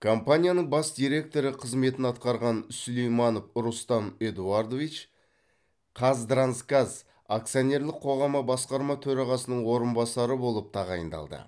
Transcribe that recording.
компанияның бас директоры қызметін атқарған сулейманов рустам эдуардович қазтрансгаз акционерлік қоғамы басқарма төрағасының орынбасары болып тағайындалды